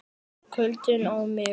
KULDINN á mig.